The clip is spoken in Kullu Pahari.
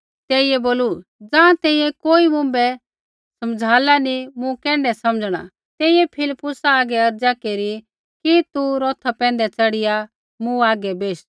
तेइयै बोलू ज़ाँ तैंईंयैं कोई मुँभै समझ़ाला नी मूँ कैण्ढै समझ़णा तेइयै फिलिप्पुसा हागै अर्ज़ा केरी कि तू रौथा पैंधै च़ढ़िया मूँ हागै बेश